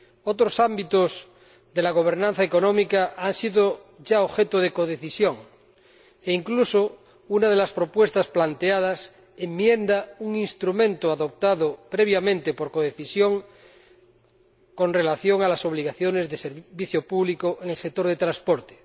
Otros ámbitos de la gobernanza económica han sido ya objeto de codecisión, e incluso una de las propuestas planteadas enmienda un instrumento adoptado previamente por codecisión, en relación con las obligaciones de servicio público en el sector del transporte.